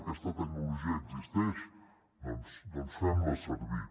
aquesta tecnologia existeix doncs fem la servir